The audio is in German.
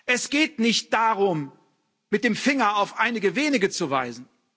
Es geht nicht darum, mit dem Finger auf einige wenige zu weisen.